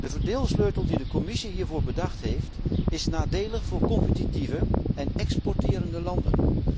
De verdeelsleutel die de Commissie hiervoor bedacht heeft is nadelig voor competitieve en exporterende landen.